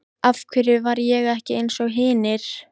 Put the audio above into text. Af hverju var ég ekki einsog hinir?